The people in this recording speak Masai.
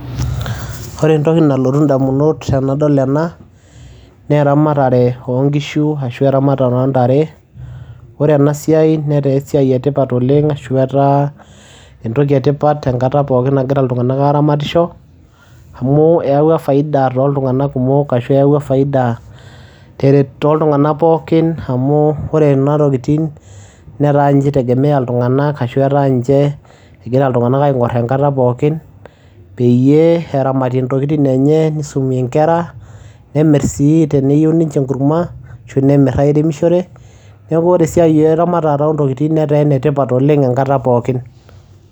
Ore entoki nalotu indamunot enadol ena naa eramatare oo nkishu ashu eramatare oo ntare. Ore ena siai netaa esiai e tipat oleng' ashu etaa entoki e tipat enkata pookin nagira iltung'anak aaramatisho amu eyawua faida tooltung'anak kumok ashu eyawua faida teret toltung'anak pookin amu ore ena tokitin netaa nche itegemea iltung'anak ashu etaa nche egira iltung'anak aing'or enkata pookin peyie eramatie intokitin enye nisumie inkera, nemir sii teneyeu ninche enkuruma ashu nemir airemishore. Neeku ore esiai eramatata oo ntokitin netaa ene tipat oleng' enkata pookin.